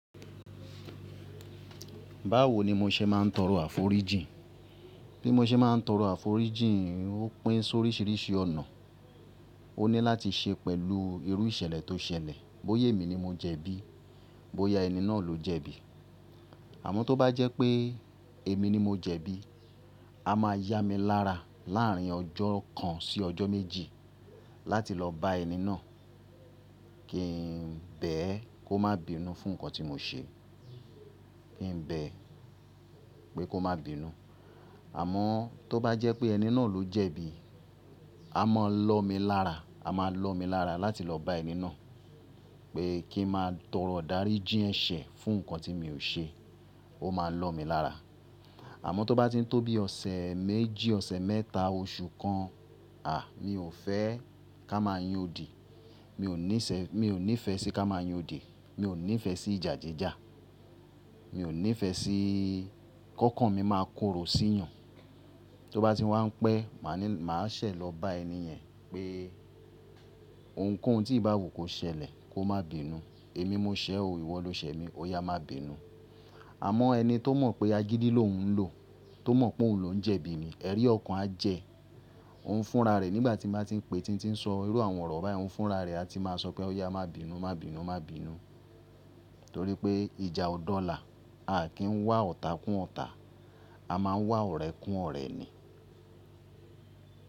Báwo ni mo ṣe máa ń tọrọ àforíjì? Bí mo ṣe máa ń tọrọ àforíjì, ó pín sóríṣìíríṣìí ọ̀nà. O ní láti ṣe pẹ̀lú irú ìṣẹ̀lẹ̀ tó ṣẹlẹ̀. Bóyè mi ni mo jẹ̀bi, bóyá ẹni náà ló jẹ̀bi. Àmọ́ tó bá jẹ́ pé èmi ni mo jẹ̀bi, a máa yá mi lára láà rín ọjọ́ kan sí ọjọ́ méjì láti lọ bá ẹni náà kí n bẹ́ ẹ kó má bìí nùú fún nǹkan tí mo ṣe. Kí n bẹ́ ẹ pé kó má bìí nùú. Àmọ́ tó bá jẹ́ pé ẹni náà ló jẹ̀bi, a máa lọ̀ mi lára. A máa lọ̀ mi lára láti lọ bá ẹni náà pé kí n má a tọrọ dáríjí ẹ̀ṣẹ̀ fún nǹkan tí mi ò ṣe. Ó máa lọ̀ mi lára. Àmọ́ tó bá ti ń tó bí ọ̀sẹ̀ méjì, ọ̀ṣẹ̀ mẹ́ta, oṣù kan, à mi ò fẹ́ ká máa yan odi. Mi ò ní ìfẹ́ sí ká máa yan odi. Mi ò ní ìfẹ́ sí ìjà jíjà. Mi ò ní ìfẹ́ sí kọ́kan mi máa korò sí ìyàn. Tó bá ti wá ń pẹ́, mà á ṣẹ̀ lọ bá ẹni yẹn pé ohunkóhun tí ìbá àwú kò ṣẹlẹ̀ kó má bìí nùú. Èmi mo ṣẹ̀ ọ́, ìwọ lo ṣẹ̀ mi, ó yá má bìí nùú. Àmọ́ ẹni tó mọ̀ pé agídí ló ń lò, tó mọ̀ pé òun ló ń jẹ̀bi mi, ẹ́ rí ọ̀kan á jẹ́, òun ń fúnra rẹ̀ nígbà tí màá tí ń pè, tí n tí ń sọ irú àwọn ọ̀rọ̀ báyìí, òun ń fúnra rẹ̀, a ti máa sọ pé ó yá má bìí nùú, má bìí nùú, má bìí nùú. Nítorí pé ìjà ọ̀dọ́ là, a kì í ń wá ọ̀tà kún ọ̀tà. A máa ń wá ọ̀rẹ́ kún ọ̀rẹ́ ni.